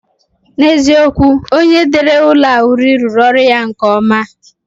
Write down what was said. N'eziokwu, onye dere ụlọ a uri rụrụ ọrụ ya nke ọma